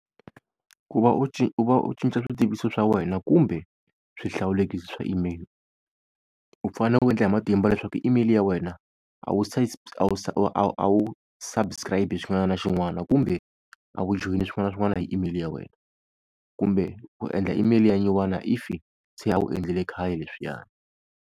Ku va u u va u cinca swi tiviso swa wena kumbe swihlawulekisi swa email, u fane u endla hi matimba leswaku email ya wena a wu a wu subscribe xin'wana na xin'wana kumbe a wu joyini swin'wana na swin'wana hi email ya wena. Kumbe u endla email ya nyiwana if se a wu endlile khale leswiyani.